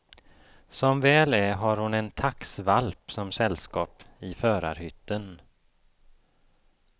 Som väl är har hon en taxvalp som sällskap i förarhytten.